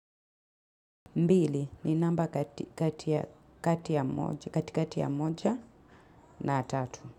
Mbili ni namba katikati ya moja na tatu.